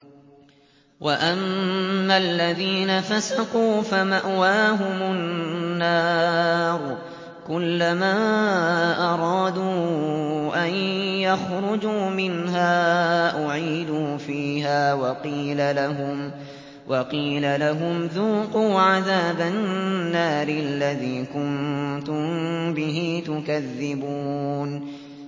وَأَمَّا الَّذِينَ فَسَقُوا فَمَأْوَاهُمُ النَّارُ ۖ كُلَّمَا أَرَادُوا أَن يَخْرُجُوا مِنْهَا أُعِيدُوا فِيهَا وَقِيلَ لَهُمْ ذُوقُوا عَذَابَ النَّارِ الَّذِي كُنتُم بِهِ تُكَذِّبُونَ